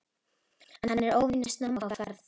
Hann er óvenju snemma á ferð.